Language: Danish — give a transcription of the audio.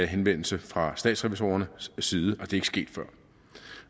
henvendelse fra statsrevisorernes side og det er ikke sket før